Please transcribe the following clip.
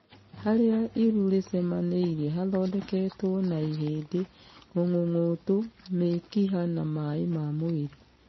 Harĩa iru rĩcemanĩirie hathondeketwo na ihĩndĩ, mung'ũng'ũtũ, mĩkiha na maĩ ma mwĩrĩ.